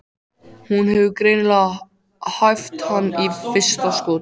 Hún hefur greinilega hæft hann í fyrsta skoti.